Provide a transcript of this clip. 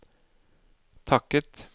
takket